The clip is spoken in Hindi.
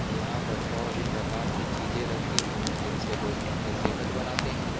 यहां पर और भी प्रकार के चीजे रखी होंगी जिनसे लोग अपनी सेहत बनाते हैं|